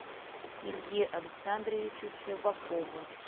илье александровичу щербакову